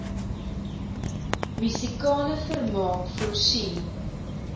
musikale vermaak voorsien